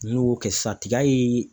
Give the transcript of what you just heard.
N'i y'o kɛ sisan tiga ye